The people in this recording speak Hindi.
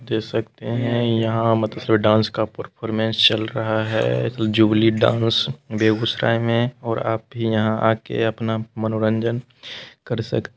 देख सकते है यहाँ मतलब डांस का परफॉरमेंस चल रहा है जुबली डांस बेगुसराई मे और अब यहाँ आके अपना मनोरंजन कर सक--